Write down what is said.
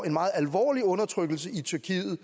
en meget alvorlig undertrykkelse i tyrkiet